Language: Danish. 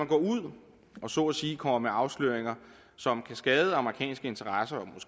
går ud og så at sige kommer med afsløringer som kan skade amerikanske interesser